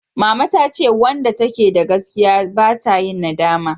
Mama ta ce wanda ta ke da gaskiya ba ta yin nadama